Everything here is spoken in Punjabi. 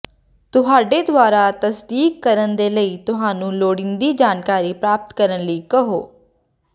ਤੁਹਾਡੇ ਦੁਆਰਾ ਤਸਦੀਕ ਕਰਨ ਦੇ ਲਈ ਤੁਹਾਨੂੰ ਲੋੜੀਂਦੀ ਜਾਣਕਾਰੀ ਪ੍ਰਾਪਤ ਕਰਨ ਲਈ ਕਹੋ